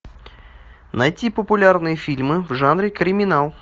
найти популярные фильмы в жанре криминал